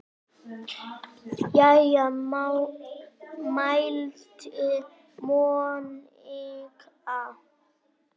Jæja mælti Monika.